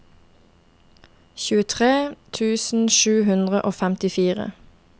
tjuetre tusen sju hundre og femtifire